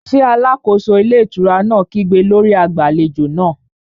Ṣé alákóso ilé ìtura náà kígbe lórí agbàlejò náà?